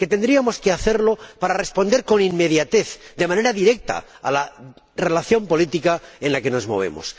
Es lo que tendríamos que hacer para responder con inmediatez, de manera directa, a la relación política en la que nos movemos.